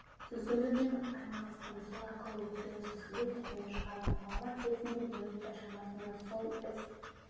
сүзгілеумен айналыстым сол арқылы өкпені сүзгілеп түтінді шығардым ауа келсін деп минуттай шамасында сол іс